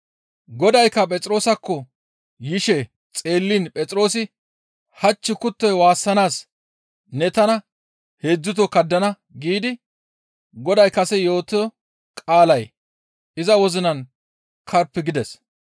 Godaykka Phexroosakko yishe xeelliin Phexroosi, «Hach kuttoy waassanaas ne tana heedzdzuto kaddana» giidi Goday kase yootoo qaalay iza wozinan karppi gides.